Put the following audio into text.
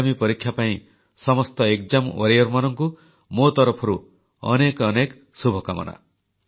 ଆଗାମୀ ପରୀକ୍ଷା ପାଇଁ ସମସ୍ତ ଏକ୍ସାମ୍ Warriorମାନଙ୍କୁ ମୋ ତରଫରୁ ଅନେକ ଅନେକ ଶୁଭକାମନା